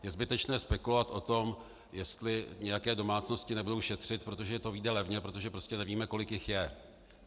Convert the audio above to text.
Je zbytečné spekulovat o tom, jestli nějaké domácnosti nebudou šetřit, protože to vyjde levně, protože prostě nevíme, kolik jich je.